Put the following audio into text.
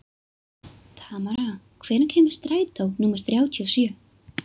Tamara, hvenær kemur strætó númer þrjátíu og sjö?